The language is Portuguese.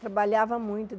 Trabalhava muito.